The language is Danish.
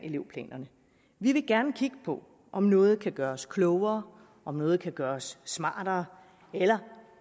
elevplanerne vi vil gerne kigge på om noget kan gøres klogere om noget kan gøres smartere eller